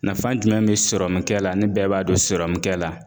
Nafa jumɛn be sɔrɔmukɛ la ni bɛɛ b'a dɔn sɔrɔmukɛla